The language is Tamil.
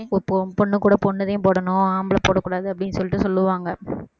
இப்போ பொ~ பொண்ணு கூட பொண்ணு தான் போடணும் ஆம்பளை போட கூடாது அப்படின்னு சொல்லிட்டு சொல்லுவாங்க